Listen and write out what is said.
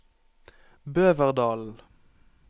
Bøverdalen